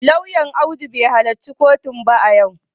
Lauyan Audu bai halarci kotun ba a yau